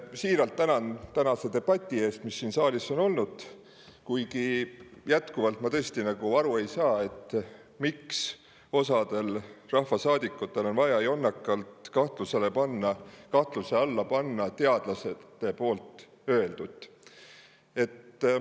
Siiralt tänan tänase debati eest, mis siin saalis on olnud, kuigi ma tõesti jätkuvalt ei saa aru, miks osal rahvasaadikutel on vaja jonnakalt panna kahtluse alla teadlaste öeldut.